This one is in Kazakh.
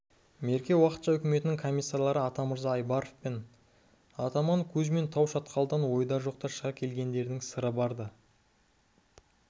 мерке уақытша үкіметінің комиссары атамырза айбаров пен атаман кузьмин тау шатқалдан ойда жоқта шыға келгендерінің сыры бар-ды